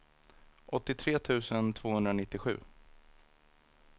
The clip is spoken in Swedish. åttiotre tusen tvåhundranittiosju